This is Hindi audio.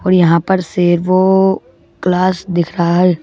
और यहां पर सेवो क्लास दिख रहा है।